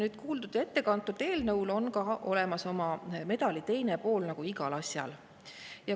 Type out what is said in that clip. Nüüd eelnõul on olemas ka medali teine pool nagu igal asjal.